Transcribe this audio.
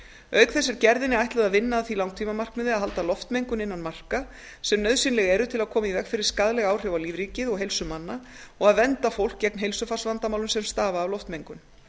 auk þess er gerðinni ætlað að vinna að því langtímamarkmiði að halda loftmengun innan marka sem nauðsynleg ber til að koma í veg fyrir skaðleg áhrif á lífríkið og heilsu manna og að vernda fólk gegn heilsufarsvandamálum sem stafa af loftmengun